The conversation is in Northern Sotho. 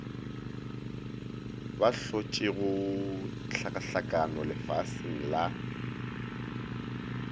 ba hlotšego hlakahlakano lefaseng la